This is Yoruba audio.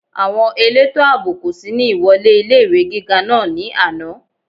Àwọn elétò àbò kò sí ní ìwọlé ilé-ìwé gíga náà ní àná